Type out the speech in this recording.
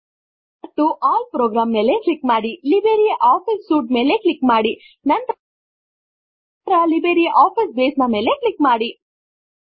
ಮತ್ತು all program ಮೇಲೆ click ಮಾಡಿ ಲಿಬ್ರೆ ಆಫೀಸ್ ಸೂಟ್ ಮೇಲೆ ಕ್ಲಿಕ್ ಮಾಡಿ ನಂತರ ಲಿಬ್ರೆ ಆಫೀಸ್ ಬೇಸ್ ನ ಮೇಲೆ ಕ್ಲಿಕ್ ಮಾಡಿ